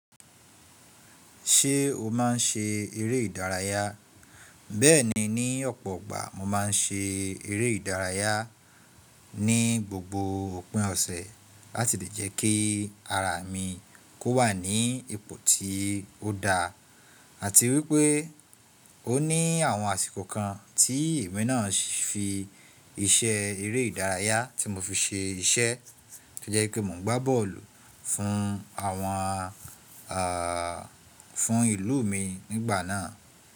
Ṣé o máa ń ṣe eré ìdárayá? Bẹ́ẹ̀ni, ní ọ̀pọ̀ ọgbà mo máa ń ṣe eré ìdárayá ní gbogbo òpin ọ̀sẹ̀ láti lè jẹ́ kí ara mi kó wà ní ipò tí ó da. Àti wípé́ ó ní àwọn àsìkò kan tí èmi náà fi iṣẹ́ eré ìdárayá tí mo fi ṣe iṣẹ́ tó jẹ́ wi pé mo ń gbá bọ́ọ̀lù fún àwọn, àà, fún ìlú mi nígbà náà.